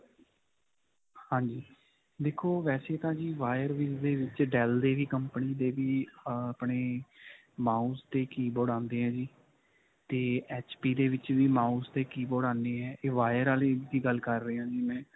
ਹਾਂਜੀ, ਦੇਖੋ ਵੈਸੇ ਤਾਂ ਜੀ wire ਵਿੱਚ dell ਦੇ ਵੀ company ਦੇ ਵੀ ਅਅ ਆਪਣੇ ਮਾਊਸ ਤੇ keyboard ਆਉਂਦੇ ਹੈ ਜੀ ਤੇ HP ਦੇ ਵਿੱਚ ਵੀ ਮਾਊਸ ਤੇ keyboard ਆਉਂਦੇ ਹੈ ਤੇ. ਇਹ wire ਵਾਲੇ ਦੀ ਗੱਲ ਕਰ ਰਿਹਾਂ ਜੀ ਮੈਂ.